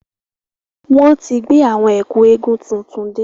Wọn tí gbé àwọn Ẹ̀kú eégún tuntun dé.